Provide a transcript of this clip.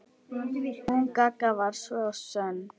Hún Gagga var svo sönn.